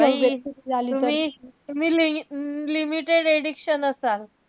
तुम्ही~ तुम्ही limited edition असाल.